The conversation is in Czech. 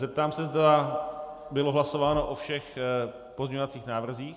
Zeptám se, zda bylo hlasováno o všech pozměňovacích návrzích.